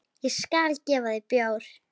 Ég skal gefa þér bjór.